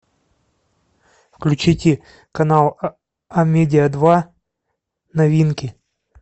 включите канал амедиа два новинки